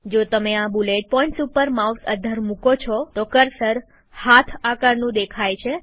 જો તમે આ બુલેટ પોઈન્ટ્સ ઉપર માઉસ અદ્ધર મુકો છો તોતો કર્સર હાથ આકારનું દેખાય છે